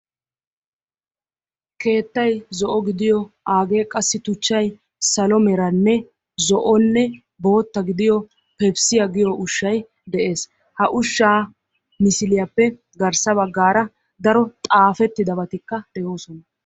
Keettay zo'o gidiyo aagee qassi tuchchay salo meranne zo'onne bootta gidiyo pepisiya giyo ushshay de'ees. Ha ushshaa misiliyappe garssa baggaara daro xaafettidabatikka de'oosona.